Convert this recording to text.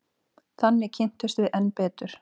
Þannig kynntumst við enn betur.